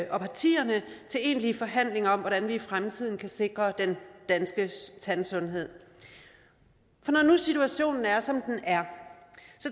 og partierne til egentlige forhandlinger om hvordan vi i fremtiden kan sikre den danske tandsundhed for når nu situationen er som den er